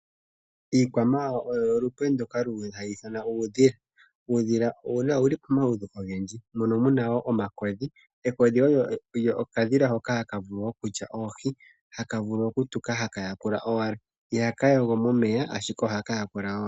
Iikwamawawa oyo olupe ndoka luli talu ithanwa uudhila, uudhila owuli pomaludhi ogendji mono muna wo omakodhi. Ekodhi olyo okadhila hoka hakavulu okulya oohi, haka vulu okutuka haka yakula owala, ihaka yogo momeya ashike ohakayakula owala.